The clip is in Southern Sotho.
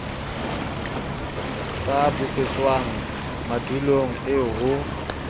sa busetswang madulong eo ho